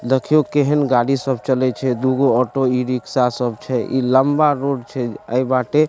देखियों केहेन गाड़ी सब चलय छै दुगो ऑटो ई-रिक्शा सब छै इ लम्बा रोड छै ए बाटे --